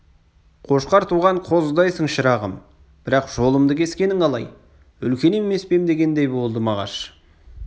қошқар туған қозыдайсың шырағым бірақ жолымды кескенің қалай үлкен емес пе ем дегендей болды мағаш соған